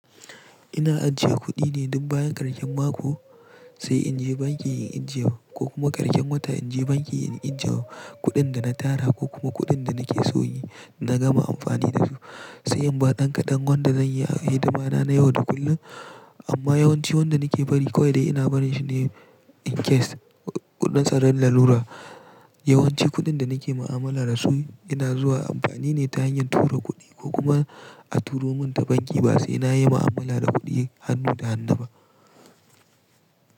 Ina ajiye kuɗi ne duk bayan karshen mako sai in je banki in injewa ko kuma karshen wata in je banki in injewa kuɗin da na tara ko kuma kuɗin da nake soyi na gama amfani da su. Sai in bar dankadan wanda zan yi hidima na yau da kullum amma yawanci wanda nake bari kawai ina barin shi ne in case kuɗin tsaron lalura. Yawanci kuɗin da nake mu'amala da su ina zuwa amfani ne ta hanyar tura kuɗi ko kuma a turo mun ta banki ba sai na yi mu'amala da kuɗi hannu da hannu ba.